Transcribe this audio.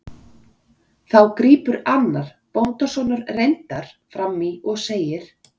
Þá grípur annar, bóndasonur reyndar, fram í og segir